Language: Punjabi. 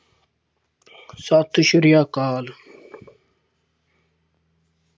ਸਤਿ ਸ੍ਰੀ ਅਕਾਲ।